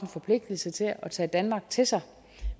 forpligtelse til at tage danmark til sig